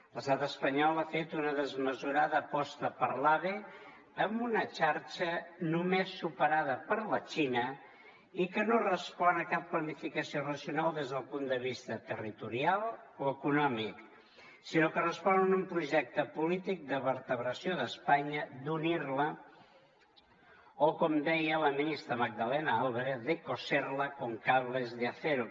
l’estat espanyol ha fet una desmesurada aposta per l’ave amb una xarxa només superada per la xina i que no respon a cap planificació racional des del punt de vista territorial o econòmic sinó que respon a un projecte polític de vertebració d’espanya d’unir la o com deia la ministra magdalena álvarez de coserla con cables de acero